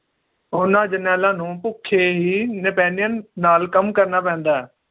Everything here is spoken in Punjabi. ਉਹਨਾਂ ਜਰਨੈਲਾਂ ਨੂੰ ਭੁੱਖੇ ਹੀ napanean ਨਾਲ ਕੰਮ ਕਰਨਾ ਪੈਂਦਾ ਹੈ